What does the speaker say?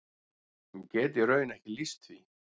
Ég get í raun ekki lýst því.